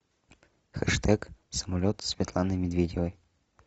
хэштег самолет светланы медведевой